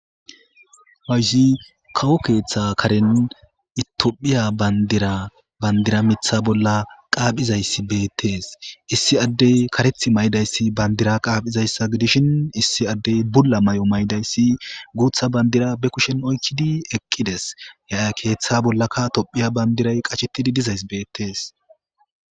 Hoysi kawo keeththa karen itophiya bandira bandira mitha bolla qaaphizayssi beettees issi addey kareth may'dayssi bandira qaaphizayssa gidishin issi addey bulla may'o maydayssi guutha bandira be kushen oykkidi eqqides yaa keeththa bollaka tophiya bandiray qachettidi dizays beettees